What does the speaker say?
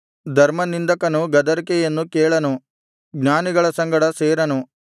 ಧರ್ಮನಿಂದಕನು ಗದರಿಕೆಯನ್ನು ಕೇಳನು ಜ್ಞಾನಿಗಳ ಸಂಗಡ ಸೇರನು